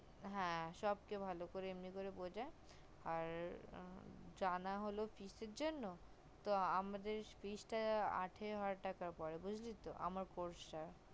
হা সবকে এমনি করে ভালো করে বুজাই আর জানা হলো কিসের জন্য তো আমাদের তা আঠারো হাজার টাকা পরে বুজলি তো আমার course টা